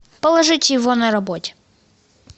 положить его на работе